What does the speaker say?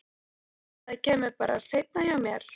Ég hélt að það kæmi bara seinna hjá mér.